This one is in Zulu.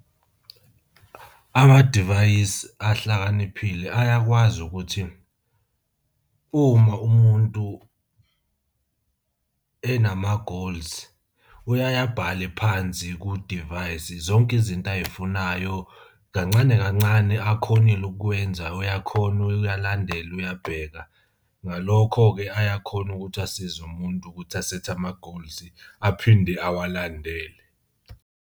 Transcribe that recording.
Amadivayisi ahlakaniphile ayakwazi ukuthi uma umuntu enama-goals, uyaye abhale phansi kudivayisi zonke izinto ay'funayo, kancane kancane akhonile ukukwenza uyakhona uyalandela uyabheka. Ngalokho-ke, ayakhona ukuthi asize umuntu ukuthi asethe ama-goals aphinde awalandele.